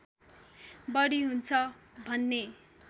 बढी हुन्छ भन्ने